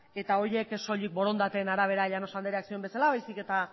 eta horiek soilik borondateen arabera llanos andreak zioen bezala baizik eta